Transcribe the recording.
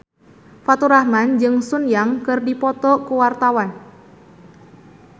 Faturrahman jeung Sun Yang keur dipoto ku wartawan